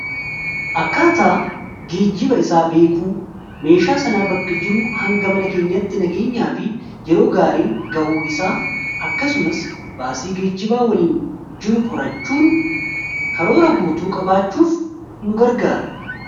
Akkaataa geejjibaa isaa beekuun meeshaa sanaa bakka jiruu hanga mana keenyatti nageenyaa fi yeroo gaariin ga'uu isaa akkasumas baasii geejjibaa waliin jiru qorachuun karoora guutuu qabaachuuf nu gargaara.